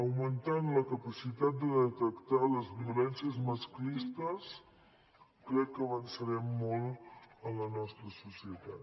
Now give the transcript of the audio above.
augmentant la capacitat de detectar les violències masclistes crec que avançarem molt en la nostra societat